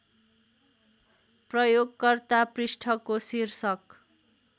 प्रयोगकर्ता पृष्ठको शीर्षक